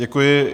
Děkuji.